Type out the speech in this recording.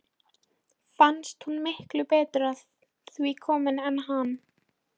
Fannst hún miklu betur að því komin en hann.